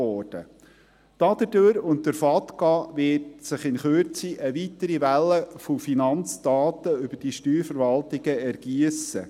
Dadurch und durch den «Foreign Account Tax Compliance Act» (FATCA) wird sich innert Kürze eine weitere Welle von Finanzdaten über die Steuerverwaltungen ergiessen.